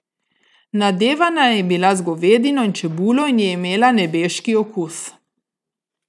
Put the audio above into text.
Nadevana je bila z govedino in čebulo in je imela nebeški okus.